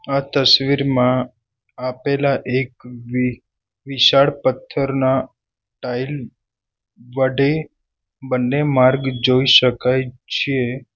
આ તસવીરમાં આપેલા એક વિ વિશાળ પથ્થરના ટાઈલ વટે બંને માર્ગ જોઈ શકાય છે.